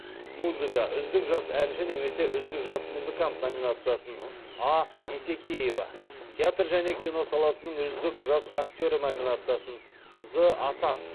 музыка номинациясын а есекеева театр және кино саласының үздік жас актері номинациясын з асан